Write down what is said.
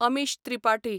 Amish Tripathi